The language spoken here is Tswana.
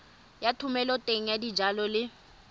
ya thomeloteng ya dijalo le